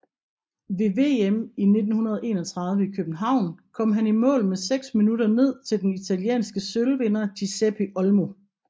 Ved VM i 1931 i København kom han i mål med seks minutter ned til den italienske sølvvinder Giuseppe Olmo